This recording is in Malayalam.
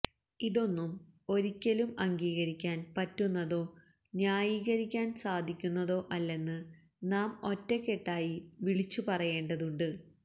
ഇതൊന്നും ഒരിക്കലും അംഗീകരിക്കാൻ പറ്റുന്നതോ ന്യായീകരിക്കാൻ സാധിക്കുന്നതോ അല്ലെന്ന് നാം ഒറ്റക്കെട്ടായി വിളിച്ചു പറയേണ്ടതുണ്ട്